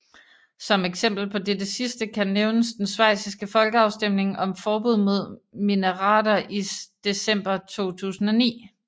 Som eksempel på dette sidste kan nævnes den schweiziske folkeafstemning om forbud mod minareter i december 2009